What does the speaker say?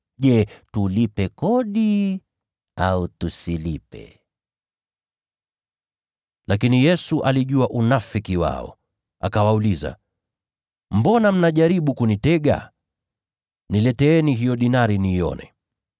Je, tulipe kodi au tusilipe?” Lakini Yesu alijua unafiki wao. Akawauliza “Mbona mnajaribu kunitega? Nileteeni hiyo dinari niione.”